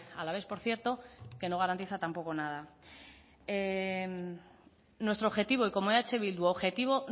alavés por cierto que no garantiza tampoco nada nuestro objetivo y como eh bildu objetivo